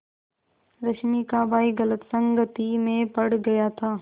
रश्मि का भाई गलत संगति में पड़ गया था